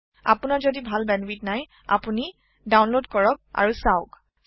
আপোনাৰ যদি ভাল বেন্ডউইধ নাই আপুনি ডাউনলোড কৰক আৰু চাওক